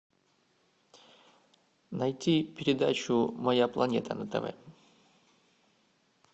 найти передачу моя планета на тв